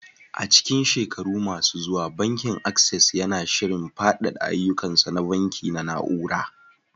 A cikin shekaru masu zuwa, Bankin Access yana shirin faɗaɗa ayyukansa na banki na na'ura.